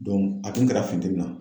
a kin kɛra funteni na.